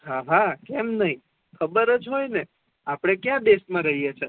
હાહા કેમ નઈ આપણે ખબર જ હોય ને કયા દેશ મા રહી એ છે